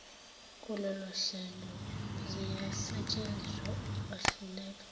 kulolohlelo ziyasetshenziswa ukwahluleka